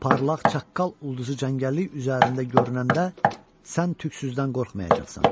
Parlaq çaqqal ulduzu cəngəllik üzərində görünəndə sən tüklüsüzdən qorxmayacaqsan.